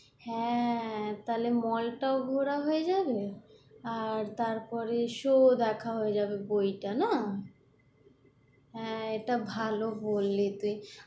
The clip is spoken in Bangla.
হ্যাঁ, তাহলে mall টা'ও ঘোরা হয়ে যাবে, আর তারপরে show দেখা হয়ে যাবে বইটা না এটা ভাল বই, যে দেখবি"